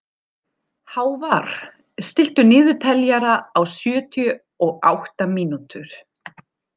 Hávarr, stilltu niðurteljara á sjötíu og átta mínútur.